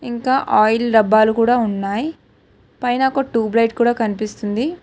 ఇంకా ఆయిల్ డబ్బాలు కూడా ఉన్నాయ్ పైన ఒక టూబ్ లైట్ కూడా కనిపిస్తుంది.